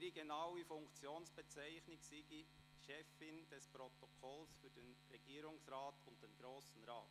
Ihre genaue Funktionsbezeichnung sei «Chefin des Protokolls für den Regierungsrat und den Grossen Rat».